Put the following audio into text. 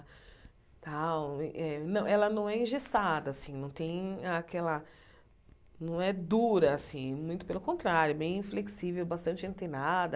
Tal e eh ela não é engessada não tem aquela, não é dura assim, muito pelo contrário, bem flexível, bastante antenada.